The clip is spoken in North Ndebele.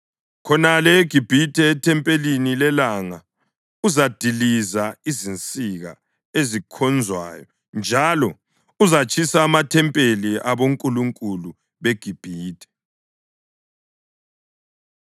Khonale eGibhithe, ethempelini lelanga, uzadiliza izinsika ezikhonzwayo njalo uzatshisa amathempeli abonkulunkulu beGibhithe.’ ”